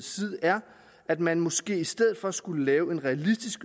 side er at man måske i stedet for skulle lave en realistisk